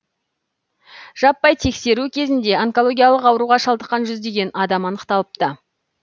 жаппай тексеру кезінде онкологиялық ауруға шалдыққан жүздеген адам анықталыпты